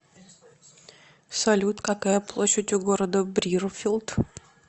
салют какая площадь у города брирфилд